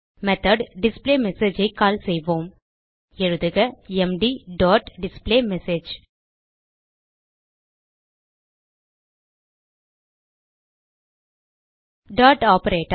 method display message ஐ call செய்வோம் எழுதுக MD dot display message dot operator